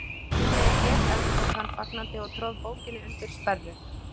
Nú veit ég, endurtók hann fagnandi og tróð bókinni undir sperru.